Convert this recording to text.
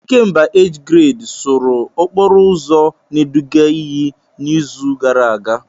Ikemba age grade sụrụ okporo ụzọ na-eduga iyi n'izu gara aga.